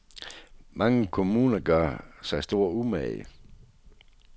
Mange kommuner gør sig stor umage.